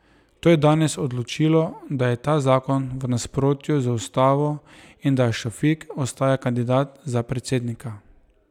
To je danes odločilo, da je ta zakon v nasprotju z ustavo in da Šafik ostaja kandidat za predsednika.